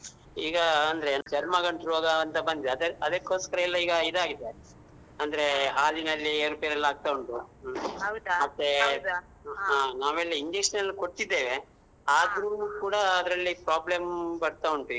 ಈಗಾ ಅಂದ್ರೆ ಚರ್ಮ ಗಂಟು ರೋಗಾಂತ ಬಂದಿದೆ ಅದ್ ಅದಕ್ಕೋಸ್ಕರ ಎಲ್ಲ ಇದ್ ಆಗಿದೆ ಅಂದ್ರೇ ಹಾಲಿನಲ್ಲಿ ಏರು ಪೇರು ಎಲ್ಲ ಆಗ್ತಾ ಉಂಟು ಹ್ಮ ನಾವ್ ಎಲ್ಲ injection ಎಲ್ಲ ಕೊಡ್ತಿದ್ದೇವೆ ಆದ್ರೂ ಕೂಡಾ ಅದ್ರಲ್ಲಿ problem ಬರ್ತಾ ಉಂಟ್ ಈಗ.